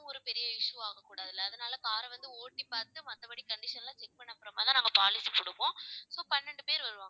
ஒரு பெரிய issue ஆகக்கூடாதில்ல அதனால car அ வந்து ஓட்டி பார்த்து மத்தபடி condition எல்லாம் check பண்ண அப்புறமாதான் நாங்க policy கொடுப்போம். so பன்னெண்டு பேர் வருவாங்க